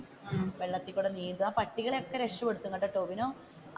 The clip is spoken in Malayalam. വെള്ളത്തിലൂടെ നീന്തും ആ പട്ടികളെ ഒക്കെ രക്ഷപ്പെടുത്തും കേട്ടോ ടോവിനോ